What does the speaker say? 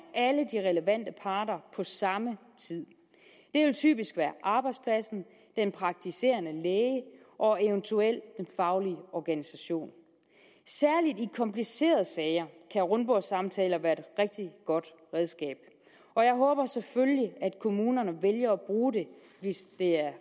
alle de relevante parter på samme tid det vil typisk være arbejdspladsen den praktiserende læge og eventuelt den faglige organisation særlig i komplicerede sager kan rundbordssamtaler være et rigtig godt redskab og jeg håber selvfølgelig at kommunerne vælger at bruge det hvis